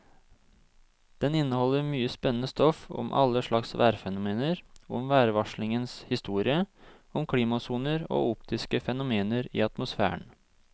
Den inneholder mye spennende stoff om alle slags værfenomener, om værvarslingens historie, om klimasoner og optiske fenomener i atmosfæren.